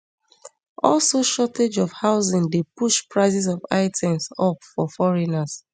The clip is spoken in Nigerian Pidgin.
also shortage of housing dey push prices of items up for foreigners